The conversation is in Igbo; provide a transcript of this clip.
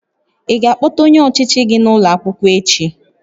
Ị ga-akpọta onye ọchịchị gị n'ụlọ akwụkwọ echi?